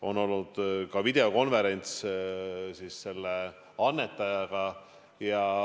On olnud ka videokonverents selle annetajaga.